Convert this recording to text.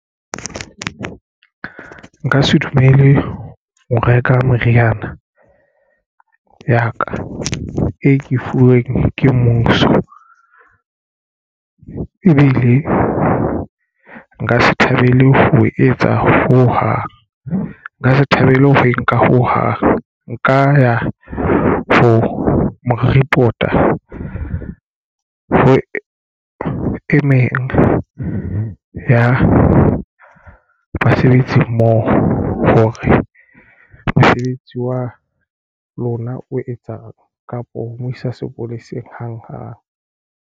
Nka se dumele ho reka meriana ya ka e ke fuweng ke mmuso. Ebile nka se thabele ho etsa ho hang. Nka se thabele ho nka ho hang nka ya for mo report-a ho e meng ya basebetsi mmoho hore mosebetsi wa lona o etsang kapo ho mo isa sepoleseng hanghang.